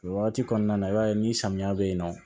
O wagati kɔnɔna na i b'a ye ni samiya bɛ yen nɔ